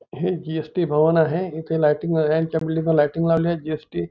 हे जि.एस.टी. भवन आहे इथे लाइटिंग वाल्याच्या लाइटिंग लावलेली जि.एस.टी. --